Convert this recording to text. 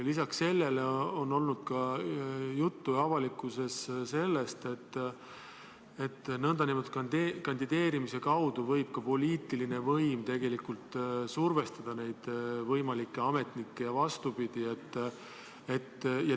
Lisaks on olnud avalikkuses juttu sellest, et nn kandideerimise kaudu võib ka poliitiline võim tegelikult survestada võimalikke ametnikke ja vastupidi.